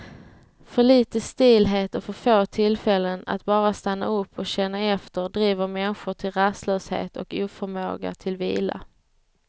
För lite stillhet och för få tillfällen att bara stanna upp och känna efter driver människor till rastlöshet och oförmåga till vila.